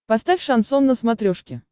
поставь шансон на смотрешке